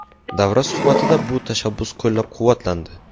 Davra suhbatida bu tashabbus qo‘llab-quvvatlandi.